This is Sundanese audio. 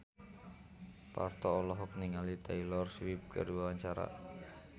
Parto olohok ningali Taylor Swift keur diwawancara